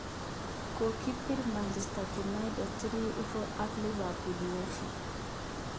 Kokibir Manchester United 3-0ak Liverpool:Uefa.